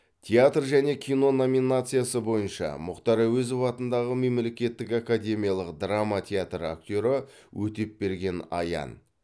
театр және кино номинациясы бойынша мұхтар әуезов атындағы мемлекеттік академиялық драма театры актері өтепберген аян